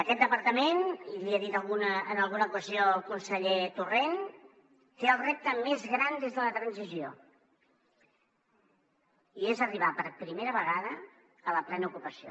aquest departament i l’hi he dit en alguna ocasió al conseller torrent té el repte més gran des de la transició i és arribar per primera vegada a la plena ocupació